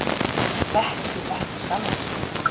Hann þekki ekki sjálfan sig.